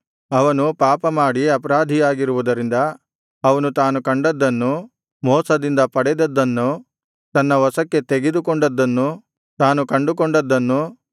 ಅವನು ಪಾಪಮಾಡಿ ಅಪರಾಧಿಯಾಗಿರುವುದರಿಂದ ಅವನು ತಾನು ಕದ್ದದ್ದನ್ನು ಮೋಸದಿಂದ ಪಡೆದದ್ದನ್ನು ತನ್ನ ವಶಕ್ಕೆ ತೆಗೆದುಕೊಂಡದ್ದನ್ನು ತಾನು ಕಂಡುಕೊಂಡದ್ದನ್ನು